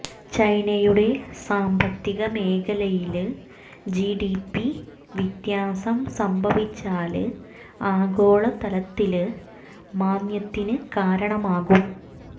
ചൈനയുടെ സാമ്പത്തിക മേഖലയില് ജിഡിപി വ്യത്യാസം സംഭവിച്ചാല് ആഗോള തലത്തില് മാന്ദ്യത്തിന് കാരണമാകും